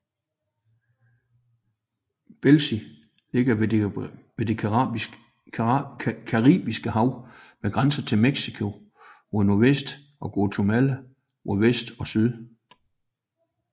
Belize ligger ved det Caribiske Hav med grænser til Mexico mod nordvest og Guatemala mod vest og syd